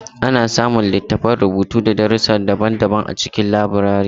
Ana samun littattafan rubutu na darussi daban-daban a cikin laburare.